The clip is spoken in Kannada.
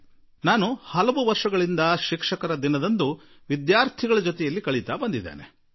ನಾನು ಅನೇಕ ವರ್ಷಗಳಿಂದಲೂ ಶಿಕ್ಷಕರ ದಿನದಂದು ವಿದ್ಯಾರ್ಥಿಗಳೊಡನೆ ಸಾಕಷ್ಟು ಸಮಯ ಕಳೆಯುತ್ತಾ ಬಂದಿರುವೆ